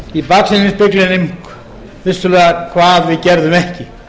í baksýnisspeglinum vissulega hvað við gerðum ekki